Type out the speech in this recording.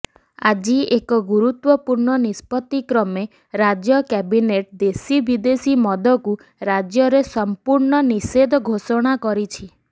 ଆଜି ଏକ ଗୁରୁତ୍ୱପୂର୍ଣ୍ଣ ନିଷ୍ପତିକ୍ରମେ ରାଜ୍ୟ କ୍ୟାବିନେଟ ଦେଶୀ ବିଦେଶୀ ମଦକୁ ରାଜ୍ୟରେ ସଂପୂର୍ଣ୍ଣ ନିଷେଧ ଘୋଷଣା କରିଛି